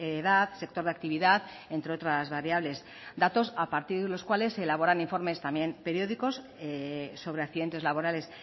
edad sector de actividad entre otras variables datos a partir de los cuales se elaboran informes también periódicos sobre accidentes laborales